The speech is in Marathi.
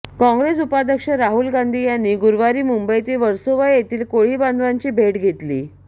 काँग्रेस उपाध्यक्ष राहुल गांधी यांनी गुरुवारी मुंबईतील वर्सोवा येथील कोळी बांधवांची भेट घेतली